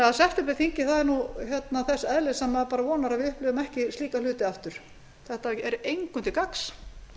tillöguna septemberþingið var þannig að ég vona að við upplifum ekki slíka hluti aftur þetta er engum til gagns